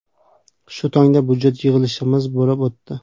Shu tongda budjet yig‘ilishimiz bo‘lib o‘tdi.